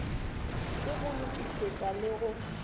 ke go lokišetša le go